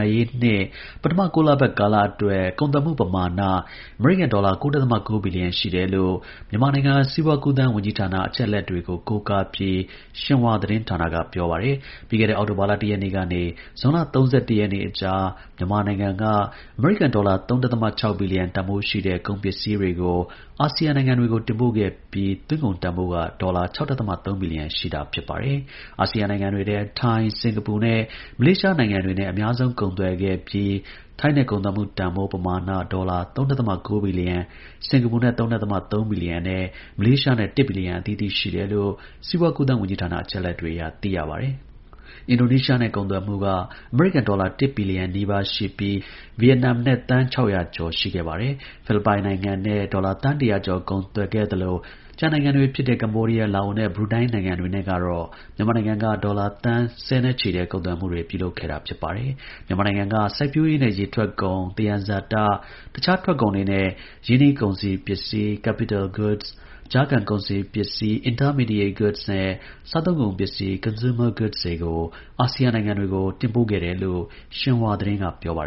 ာရေးနှစ် ပထမ ၉ လပတ်ကာလ အတွက် ကုန်သွယ်မှု ပမာဏ အမေရိကန် ဒေါ်လာ ၉.၉ ဘီလီယံရှိတယ်လို့ မြန်မာနိုင်ငံ စီးပွါးကူးသန်း ဝန်ကြီးဌာန အချက် အလက်တွေကို ကိုးကားပြီး Xinhua သတင်းဌာနက ပြောပါတယ်။ ပြီးခဲ့တဲ့ အောက်တိုဘာ ၁ ရက်နေ့ကနေ ဇွန်လ ၃၁ ရက်နေ့ကြား မြန်မာနိုင်ငံက အမေရိကန်ဒေါ်လာ ၃.၆ ဘီလီယံတန်ဖိုးရှိတဲ့ ကုန် ပစ္စည်း တွေကို ASEAN နိုင်ငံတွေကို တင်ပို့ခဲ့ပြီး သွင်းကုန်တန်ဖိုးက ဒေါ်လာ ၆.၃ ဘီလီယံရှိတာပါ။ ASEAN နိုင်ငံတွေထဲ ထိုင်း၊ စင်္ကာပူနဲ့ မလေးရှား နိုင်ငံတွေနဲ့ အများဆုံးကုန်သွယ်ခဲ့ပြီး ထိုင်းနဲ့ကုန်သွယ်မှု တန်ဖိုး ပမာဏဒေါ်လာ ၃.၉ ဘီလီယံ၊ စင်္ကာပူနဲ့ ၃.၃ ဘီလီယံနဲ့ မလေးရှား ၁ ဘီလီယံ အသီးသီးရှိတယ်လို့ စီးပွါးကူးသန်း ဝန်ကြီးဌာနအချက်အလက်တွေအရ သိရပါတယ်။ တခြား ASEAN နိုင်ငံတွေဖြစ်တဲ့ အင်ဒိုနီးရှားနဲ့ ကုန်သွယ်မှု ၁ ဘီလီယံနီးပါး၊ ဗီယက်နမ်နဲ့ သန်း ၆၀၀ ကျော် ရှိခဲ့ပါတယ်။ ဖိလစ်ပိုင်နဲ့ ဒေါ်လာ သန်း ၁၀၀ ကျော် ကုန်သွယ်ခဲ့သလို ကျန် ကမ္ဘောဒီးယား၊ လာအိုနဲ့ ဘရူနိုင်းနိုင်ငံတွေတော့ မြန်မာနိုင်ငံက ဒေါ်လာ သန်းဆယ်နဲ့ ချီတဲ့ ကုန်သွယ်မှုတွေ ပြုလုပ်ခဲ့တာပါ။ မြန်မာနိုင်ငံက စိုက်ပျိုးရေးနဲ့ ရေထွက်ကုန်၊ သယံဇာတ၊ တခြားထုတ်ကုန်တွေနဲ့ ရင်းနှီးကုန်စည်ပစ္စည်း capital goods ၊ ကြားခံ ကုန်စည်ပစ္စည်း intermediate goods နဲ့ စားသုံးကုန် ပစ္စည်း consumer goods တွေကို ASEAN နိုင်ငံတွေကို တင်ပို့ခဲ့တယ်လို့ Xinhua သတင်းက ပြောပါ